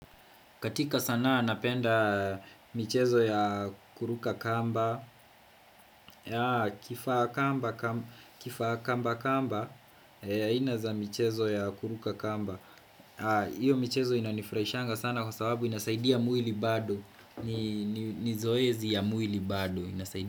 Katika sanaa napenda michezo ya kuruka kamba Kifakamba kamba aina za michezo ya kuruka kamba Iyo michezo inanifraishanga sana kwa sababu inasaidia muili bado ni zoezi ya muili bado.